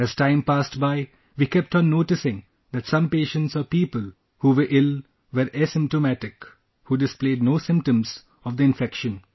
As time passed by, we kept on noticing that some patients or people who were ill were asymptomatic, who displayed no symptoms of the infection